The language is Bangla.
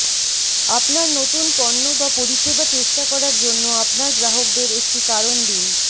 আপনার নতুন পণ্য বা পরিষেবা চেষ্টা করার জন্য আপনার গ্রাহকদের একটি কারণ দিন